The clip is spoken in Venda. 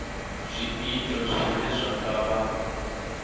zwiito zwine zwa nga vha